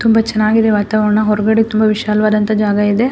ತುಂಬ ಚೆನ್ನಾಗಿದೆ ವಾತಾವರಣ ಹೊರಗಡೆ ತುಂಬ ವಿಶಾಲವಾದಂಹ ಜಾಗಇದೆ.